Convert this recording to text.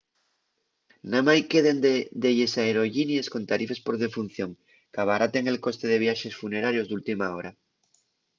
namái queden delles aerollinies con tarifes por defunción qu'abaraten el coste de viaxes funerarios d'última hora